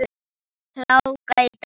Hláka í dag.